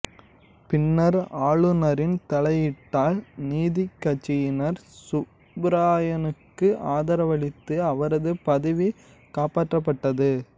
பின்னர் ஆளுநரின் தலையீட்டால் நீதிக்கட்சியினர் சுப்பராயனுக்கு ஆதரவளித்து அவரது பதவி காப்பற்றப்பட்டது